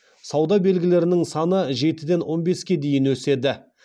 сауда белгілерінің саны жетіден он беске дейін өседі